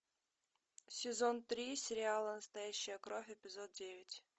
сезон три сериала настоящая кровь эпизод девять